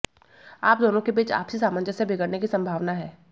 आप दोनों के बीच आपसी सामंजस्य बिगड़ने की संभावना है